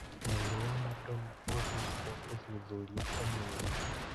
Mwĩrĩ wa Madona ũgwĩkwo ũthuthuria ũmũthĩ.